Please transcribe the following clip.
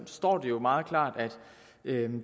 står det jo meget klart at